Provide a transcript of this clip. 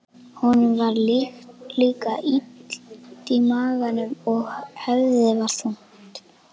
Honum var líka illt í maganum og höfuðið var þungt.